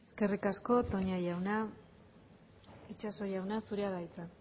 eskerrik asko toña jauna itxaso jauna zurea da hitza